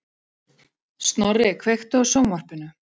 Snorri, kveiktu á sjónvarpinu.